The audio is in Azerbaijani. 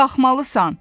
Sən qalxmalısan.